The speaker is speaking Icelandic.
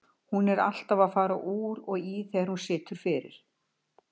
Hún er alltaf að fara úr og í þegar hún situr fyrir.